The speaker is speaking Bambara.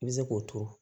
I bɛ se k'o turu